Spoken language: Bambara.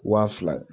Wa fila